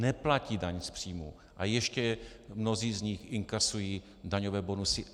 Neplatí daň z příjmu a ještě mnozí z nich inkasují daňové bonusy.